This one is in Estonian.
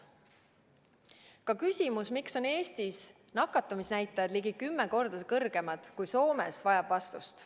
Ka küsimus, miks on Eestis nakatumisnäitajad ligi kümme korda kõrgemad kui Soomes, vajab vastust.